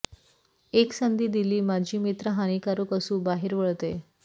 एक संधी दिली माजी मित्र हानिकारक असू बाहेर वळते